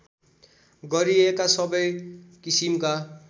गरिएका सबै किसिमका